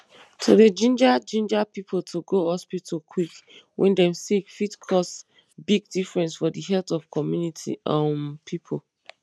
to dey ginger ginger pipo to go hospital quick wen dem sick fit cause big difference for the health of comunity um pipo